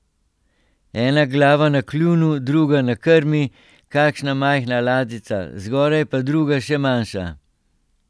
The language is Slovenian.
Ena glava na kljunu, druga na krmi, kakšna majhna ladjica, zgoraj pa druga, še manjša.